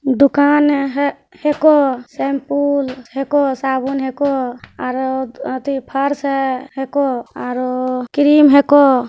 दुकान ऐ हे हे को सेमपुल हेको साबुन हैं को अ-हेक-अ-आरे अथि फ़र्स हे हेको अ क्रीम हे को।